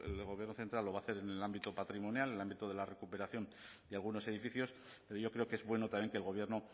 del gobierno central lo va a hacer en el ámbito patrimonial el ámbito de la recuperación de algunos edificios pero yo creo que es bueno también que el gobierno